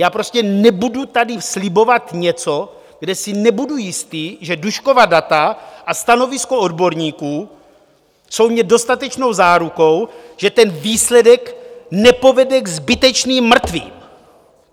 Já prostě nebudu tady slibovat něco, kde si nebudu jistý, že Duškova data a stanovisko odborníků jsou mi dostatečnou zárukou, že ten výsledek nepovede k zbytečným mrtvým.